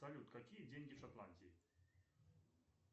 салют какие деньги в шотландии